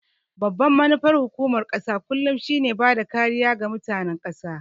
Babbar manufar hukumar ƙasa kullum shi ne bada kariya ga mutanen ƙasa